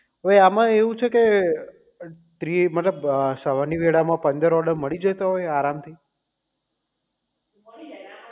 તો આમાં એવું છે કે ત્રી સવાર ની વેઢા માં પંદર order મળી જતા હોય આરામ થી